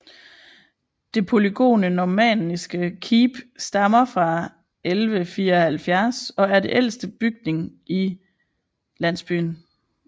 Det polygone normanniske keep stammer fra 1174 og er den ældste bygning i landsbyen